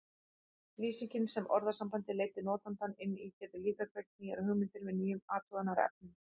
Lýsingin sem orðasambandið leiddi notandann inn í getur líka kveikt nýjar hugmyndir með nýjum athugunarefnum.